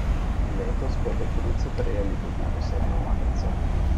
Letos bodo bruci prejeli tudi posebno majico.